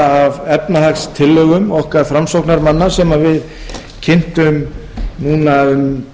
hluta af efnahagstillögum okkar framsóknarmanna sem við kynntum núna um